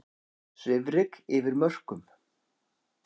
Svifryk yfir mörkum